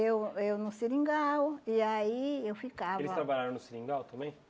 Eu... Eu no seringal, e aí eu ficava... Eles trabalharam no seringal também?